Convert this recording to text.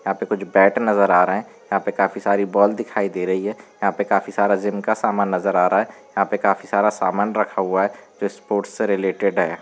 यहाँं पर कुछ बात नजर आ रहा है। यहाँ पर काफी बाल दिखाई दे रही है। यहाँं पे काफी सर जिम का समान नजर आ रहा है। यहाँं पे काफी सारा समान रखा हुआ है जो स्पोर्ट्स से रिलेटेड है।